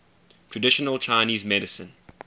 traditional chinese medicine